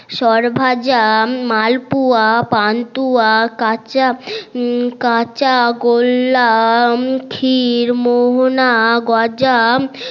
সরভাজা মালপোয়া পানতুয়া কাচা কাচা গোল্লা খরি মোহনা গজা